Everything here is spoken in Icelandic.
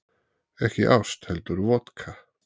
Ekki ást heldur vodka